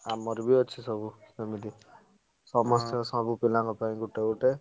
ଆମର ବି ଅଛି ସବୁ ଏମିତି ସମସ୍ତେ ସବୁ ପିଲାଙ୍କ ପାଇଁ ଗୋଟେ ଗୋଟେ।